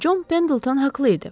Çon Pendilton haqlı idi.